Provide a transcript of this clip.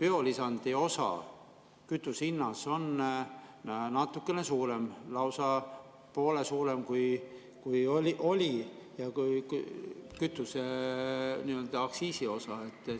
Biolisandi osa kütuse hinnas on natukene suurem, lausa poole suurem, kui oli kütuseaktsiisi osa.